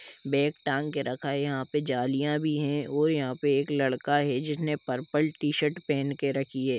Bag टांग के रखा है यहा पे जालीया भी है और यहाँ पे एक लड़का है जिसने पर्पल टी- शर्ट पेहेन के रखी है।